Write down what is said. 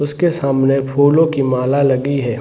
उसके सामने फूलों की माला लगी हैं।